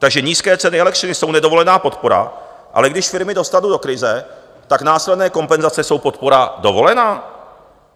Takže nízké ceny elektřiny jsou nedovolená podpora, ale když firmy dostanu do krize, tak následné kompenzace jsou podpora dovolená?